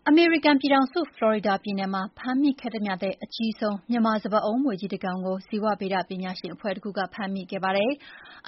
အမေရိကန်ပြည်ထောင်စု၊ ဖလော်ရီဒါပြည်နယ်မှာ ဖမ်းမိခဲ့သမျှထဲ အကြီးဆုံး မြန်မာစပါးအုံးမြွေကြီးတကောင်ကို ဇီဝဗေဒပညာရှင်အဖွဲ့တခုက ဖမ်းမိခဲ့ပါတယ်။